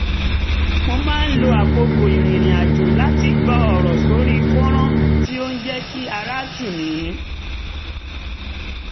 mo máa ń lo àkókò ìrìnrìn àjò láti gbọ́ ọ̀rọ̀ sórí fọ́nrán tí ó ń jẹ́ kí ara tù mí